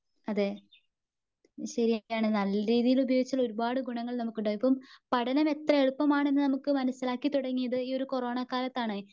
അതെ ശരിയാണ് നല്ലരീതിയിൽ ഉപയോഗിച്ചാൽ ഒരുപാട് ഗുണങ്ങൾ നമുക്ക് ഉണ്ടാകും ഇപ്പം പഠനം എത്ര എളുപ്പമാണെന്നു നമുക്ക് മനസ്സിലാക്കി തുടങ്ങിയത് ഈ ഒരു കൊറോണ കാലത്താണ്.